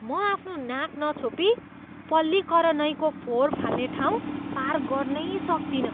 म आफ्नो नाक नछोपी पल्लीकरनईको फोहोर फाल्ने ठाउँ पार गर्नै सक्तिनँ।